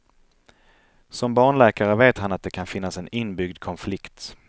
Som barnläkare vet han att det kan finnas en inbyggd konflikt.